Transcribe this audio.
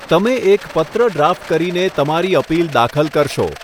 તમે એક પત્ર ડ્રાફ્ટ કરીને તમારી અપીલ દાખલ કરશો.